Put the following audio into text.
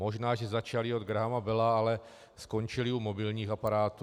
Možná že začali od Grahama Bella, ale skončili u mobilních aparátů.